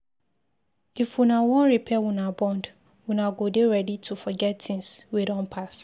If una wan repair una bond, una go dey ready to forget tins wey don pass.